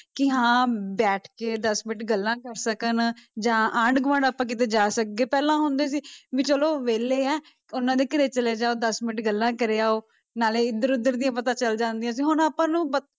ਕਿ ਹਾਂ ਬੈਠ ਕੇ ਦਸ ਮਿੰਟ ਗੱਲਾਂ ਕਰ ਸਕਣ ਜਾਂ ਆਂਢ ਗੁਆਂਢ ਆਪਾਂ ਕਿਤੇ ਜਾ ਸਕਦੇ, ਪਹਿਲਾਂ ਹੁੰਦੇ ਸੀ ਵੀ ਚਲੋ ਵਿਹਲੇ ਹੈ, ਉਹਨਾਂ ਦੇ ਘਰੇ ਚਲੇ ਜਾਓ ਦਸ ਮਿੰਟ ਗੱਲਾਂ ਕਰੇ ਆਓ, ਨਾਲੇ ਇੱਧਰ ਉੱਧਰ ਦੀਆਂ ਪਤਾ ਚੱਲ ਜਾਂਦੀਆਂ ਸੀ ਹੁਣ ਆਪਾਂ ਨੂੰ